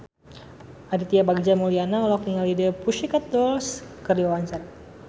Aditya Bagja Mulyana olohok ningali The Pussycat Dolls keur diwawancara